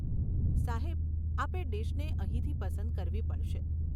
સાહેબ, આપે ડીશને અહીંથી પસંદ કરવી પડશે.